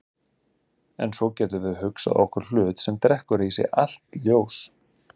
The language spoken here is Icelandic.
En svo getum við hugsað okkur hlut sem drekkur í sig allt ljós.